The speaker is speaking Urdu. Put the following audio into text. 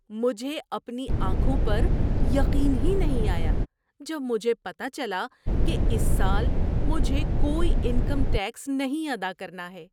مجھے اپنی آنکھوں پر یقین ہی نہیں آیا جب مجھے پتہ چلا کہ اس سال مجھے کوئی انکم ٹیکس نہیں ادا کرنا ہے!